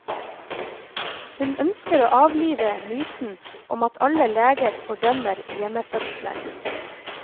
Hun ønsker å avlive myten om at alle leger fordømmer hjemmefødsler.